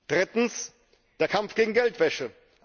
Drittens Der Kampf gegen Geldwäsche.